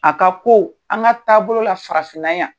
A ka ko an ka taabolo la farafinna yan.